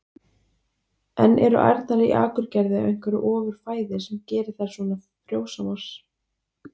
En eru ærnar í Akurgerð á einhverju ofur fæði sem gerir þær svona frjósamar?